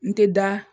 N tɛ da